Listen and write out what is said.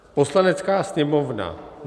Poslanecká sněmovna